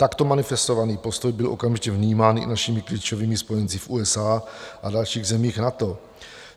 Takto manifestovaný postoj byl okamžitě vnímán i našimi klíčovými spojenci v USA a dalších zemích NATO.